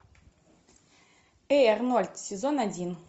эй арнольд сезон один